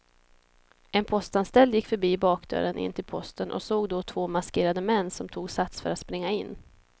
En postanställd gick förbi bakdörren in till posten och såg då två maskerade män som tog sats för att springa in.